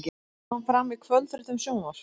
Þetta kom fram í kvöldfréttum Sjónvarps